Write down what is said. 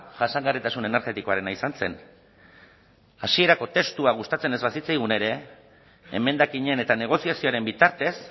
jasangarritasun energetikoarena izan zen hasierako testua gustatzen ez bazitzaigun ere emendakinen eta negoziazioaren bitartez